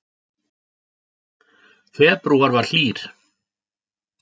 Febrúar var hlýr